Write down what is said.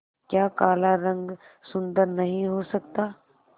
क्या काला रंग सुंदर नहीं हो सकता